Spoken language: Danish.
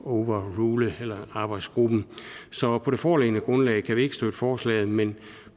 og overrule arbejdsgruppen så på det foreliggende grundlag kan vi ikke støtte forslaget men